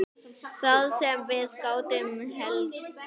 Það sem við gátum hlegið.